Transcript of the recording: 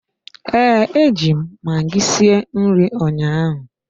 Ee, eji m magi sie nri ụnyaahụ.